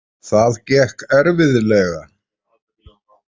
Það gekk erfiðlega.